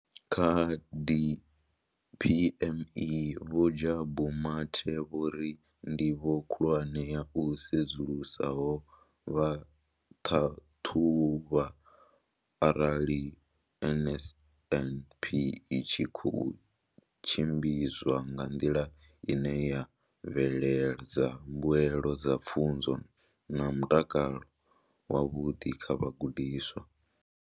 Kha DPME, Vho Jabu Mathe, vho ri ndivho khulwane ya u sedzulusa ho vha u ṱhaṱhuvha arali NSNP i tshi khou tshimbidzwa nga nḓila ine ya bveledza mbuelo dza pfunzo na mutakalo wavhuḓi kha vhagudiswa.